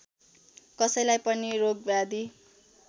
कसैलाई पनि रोगव्याधि